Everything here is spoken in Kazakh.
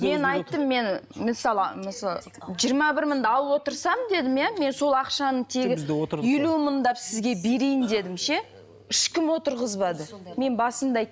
мен айттым мен мысалы жиырма бір мыңды алып отырсам дедім иә мен сол ақшаны тегі елу мыңдап сізге берейін дедім ше ешкім отырғызбады мен басында айттым